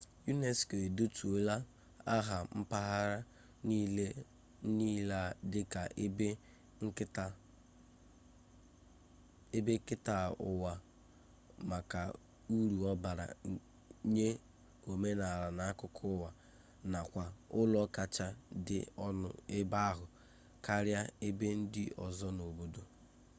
unesco edetuola aha mpaghara niile a dịka ebe nketa ụwa maka uru ọ bara nye omenala na akụkọ ụwa nakwa ụlọ kacha dị ọnụ ebe ahụ karịa ebe ndị ọzọ n'obodo